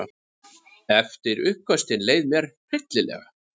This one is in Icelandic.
Eftir uppköstin leið mér hryllilega.